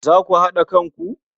Za ku haɗa kanku?